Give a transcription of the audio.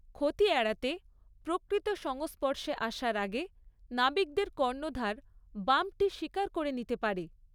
ক্ষতি এড়াতে, প্রকৃত সংস্পর্শে আসার আগে নাবিকদের কর্ণধার বাম্পটি স্বীকার করে নিতে পারে।